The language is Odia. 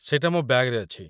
ସେଇଟା ମୋ ବ‍୍ୟାଗ୍‌ରେ ଅଛି।